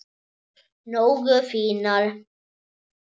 Nógu fínar?